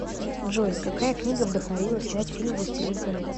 джой какая книга вдохновила снять фильм властелин колец